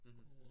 Mh